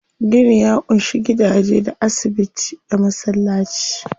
Gini ya ƙunshi gidaje, da asibiti, da masallaci.